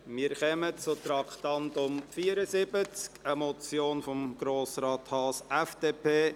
Wir kommen zum Traktandum 74, einer Motion von Grossrat Haas, FDP: